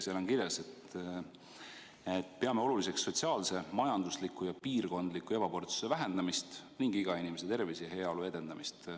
Seal on kirjas, et te peate oluliseks sotsiaalse, majandusliku ja piirkondliku ebavõrdsuse vähendamist ning iga inimese tervise ja heaolu edendamist.